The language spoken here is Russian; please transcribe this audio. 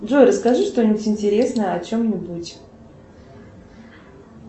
джой расскажи что нибудь интересное о чем нибудь